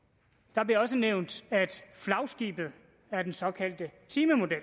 der bliver også nævnt at flagskibet er den såkaldte timemodel